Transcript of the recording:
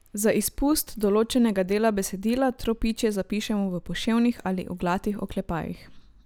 Za izpust določenega dela besedila tropičje zapišemo v poševnih ali oglatih oklepajih.